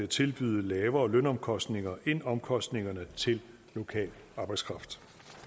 tilbyde lavere lønomkostninger end omkostningerne til lokal arbejdskraft